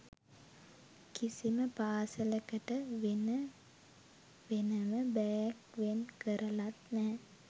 කිසිම පාසලකට වෙන වෙනම බෑග් වෙන් කරලත් නැහැ